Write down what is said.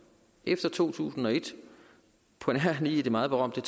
efter to tusind og et på nær lige det meget berømte